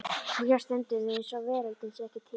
Og hér stöndum við eins og veröldin sé ekki til.